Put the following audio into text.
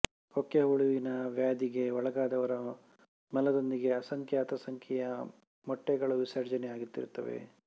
ಕೊಕ್ಕೆ ಹುಳುವಿನ ವ್ಯಾಧಿಗೆ ಒಳಗಾದವರ ಮಲದೊಂದಿಗೆ ಅಸಂಖ್ಯಾತ ಸಂಖ್ಯೆಯ ಮೊಟ್ಟೆಗಳು ವಿಸರ್ಜನೆಯಾಗುತ್ತಿರುತ್ತವೆ